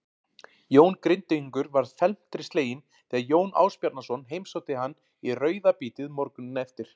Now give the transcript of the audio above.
Jón Grindvíkingur varð felmtri sleginn þegar Jón Ásbjarnarson heimsótti hann í rauðabítið morguninn eftir.